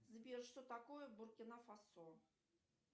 сбер что такое буркина фасо